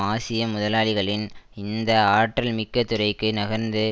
ஆசிய முதலாளிகளின் இந்த ஆற்றல் மிக்க துறைக்கு நகர்ந்து